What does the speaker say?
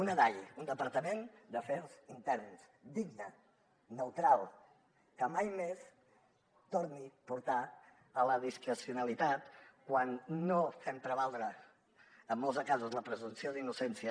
un dai un departament d’afers interns digne neutral que mai més torni a portar a la discrecionalitat quan no fem prevaldre en molts de casos la presumpció d’innocència